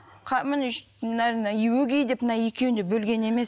міне мына өгей деп мына екеуін де бөлген емес